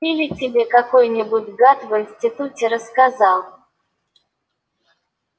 или тебе какой-нибудь гад в институте рассказал